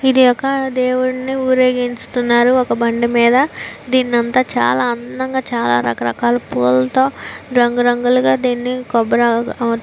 ఇది ఒక దేవుని ఉరేగించుతునారు ఒక బండి మీద దీని చాల అందంగా చాల రక రకాల పూల తో రంగురంగు ల గ దీని కోబరి ఆకుల తో --